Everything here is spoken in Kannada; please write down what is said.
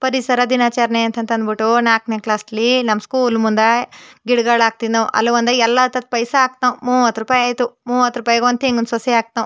ಪರಿಸರ ದಿನಾಚರಣೆ ಅಂತ ಅಂಬುಟ್ಟು ನಾಕ್ನೆ ಕ್ಲಾಸ್ಸಲ್ಲಿ ನಮ್ ಸ್ಕೂಲ್ ಮುಂದೇ ಗಿಡಗಳನ್ನ ಹಾಕ್ತಿದ್ದೋ ಅಲ್ಲಿ ಒಂದು ಎಲ್ಲಾ ಹತ್ ಹತ್ತು ಪೈಸ ಹಾಕುದ್ಮೋ ಮೂವತ್ತು ರೂಪಾಯಿ ಆಯ್ತು ಮೂವತ್ತು ರೂಪಾಯಿ ಗೆ ಒಂದ್ ತೆಂಗಿನಸಸಿ ಹಾಕಿದ್ಮೋ --